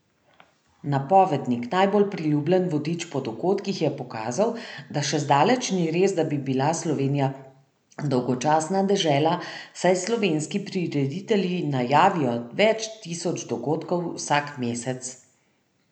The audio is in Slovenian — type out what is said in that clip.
Napovednik, najbolj priljubljen vodič po dogodkih, je pokazal, da še zdaleč ni res, da bi bila Slovenija dolgočasna dežela, saj slovenski prireditelji najavijo več tisoč dogodkov vsak mesec.